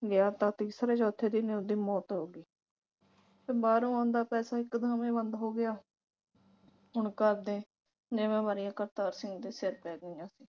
ਗਿਆ ਤਾਂ ਤੀਸਰੇ ਚੌਥੇ ਦਿਨ ਉਸ ਦੀ ਮੌਤ ਹੋ ਗਈ ਤੇ ਬਾਹਰੋਂ ਆਉਂਦਾ ਪੈਸਾ ਇਕਦਮ ਹੀ ਬੰਦ ਹੋ ਗਿਆ ਹੁਣ ਘਰਦੇ ਜਿੰਮੇਵਾਰੀਆਂ ਕਰਤਾਰ ਸਿੰਘ ਦੇ ਸਿਰ ਤੇ ਆ ਗਈਆਂ